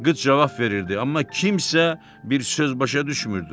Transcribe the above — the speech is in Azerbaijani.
Qız cavab verirdi, amma kimsə bir söz başa düşmürdü.